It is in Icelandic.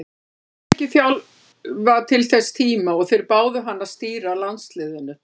Hann hafði ekki þjálfað til þess tíma og þeir báðu hann að stýra landsliðinu.